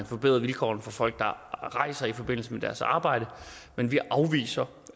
forbedre vilkårene for folk der rejser i forbindelse med deres arbejde men vi afviser